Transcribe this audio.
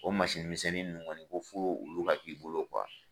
O misɛnnin ninnu kɔni ko fo olu ka k'i bolo